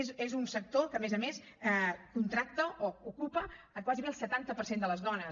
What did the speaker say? és un sector que a més a més contracta o ocupa gairebé el setanta per cent de les dones